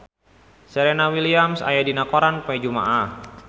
Serena Williams aya dina koran poe Jumaah